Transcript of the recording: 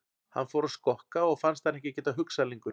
Hann fór að skokka og fannst hann ekki geta hugsað lengur.